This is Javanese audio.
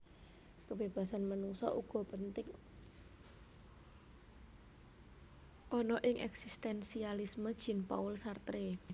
Kebebasan manungsa uga penting ana ing eksistensialisme Jean Paul Sartre